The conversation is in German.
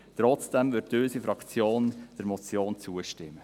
Trotzdem wird unsere Fraktion der Motion zustimmen.